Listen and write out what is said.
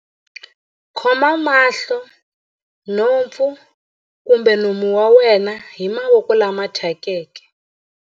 Khoma mahlo, nhompfu kumbe nomo wa wena hi mavoko lama thyakeke.